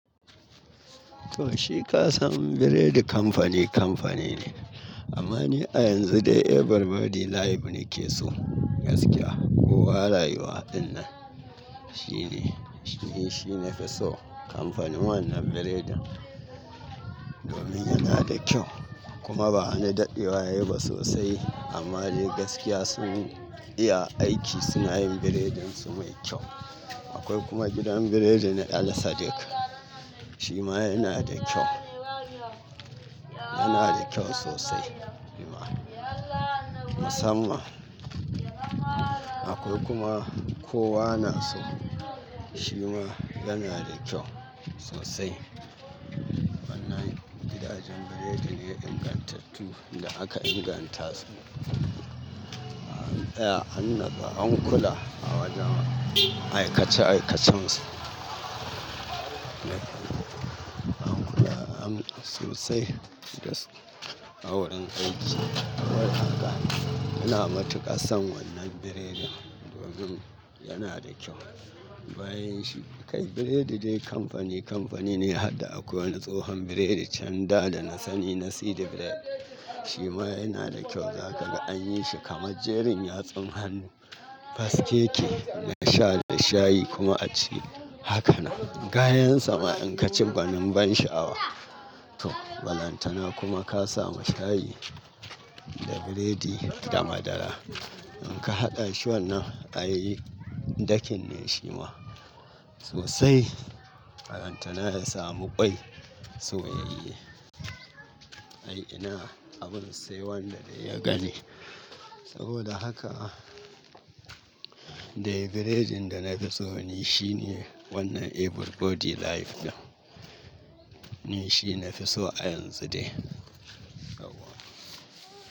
Toh shi ka san biredi kamfani kamfani ne amma ni a yanzu dai every Body Life ni ke so gaskiya. Kowa rayuwa ɗinnan shine, shi ne, shi nafi so kamfanin wannan biredin domin yana da kyau kuma ba wani daɗewa yayi ba sosai amma dai gaskiya sun iya aiki suna yin biredin su mai kyau. Akwai kuma gidan biredi na el sadiq shima yana da kyau, yana da kyau sosai kuma musamman. Akwai kuma kowa na so shima yana da kyau sosai. Wannan gidajen biredi ne ingantattu da aka inganta su an tsaya, an natsu an kula a wajen aikace aikacensu. An kula am sosai gas a wurin aiki. Kawai haka ina matuƙas son wannan biredin domin yana da kyau. Bayan shi kai biredi dai kamfani kamfani ne har da akwai wani tsohon biredi can da da na sani Nasidi Bread shima yana da kyau za ka ga an yi shi kamar jerin yatsun hannu. Faskeke na sha da shayi kuma a ci hakanan. Gayansa ma in ka ci gwanin ban sha'awa. Toh balantana kuma ka samu shayi da biredi da madara in ka haɗa shi wannan ai dakin ne shima sosai. Balantana ya samu kwai soyayye. Ai ina, abun sai wannan dai ya gani. Saboda haka dai biredin da nafi so ni shine wannan every Body Life din. Ni shi nafi so a yanzu dai. Sabo.